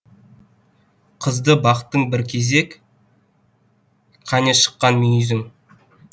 қызды бақтың бір кезек кәне шыққан мүйізің